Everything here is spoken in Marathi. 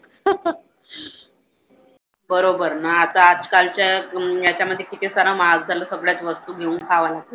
बरोबर ना. आता आजकालच्या याच्यामधे किती सारा महाग झाल्या सगळ्याच वस्तू घेऊन खाव्या लागतात.